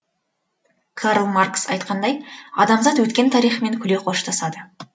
карл маркс айтқандай адамзат өткен тарихымен күле қоштасады